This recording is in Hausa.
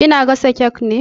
Ki na gasa kek ne?